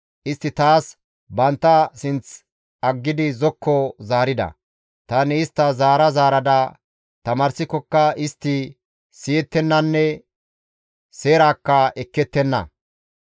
Istti taas bantta sinth aggidi zokko zaarida; tani istta zaara zaarada tamaarsikokka istti siyettennanne seeraakka ekkettenna.